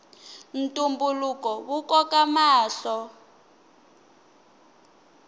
ntumbuluko wu koka mahlo